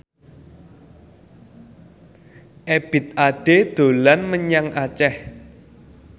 Ebith Ade dolan menyang Aceh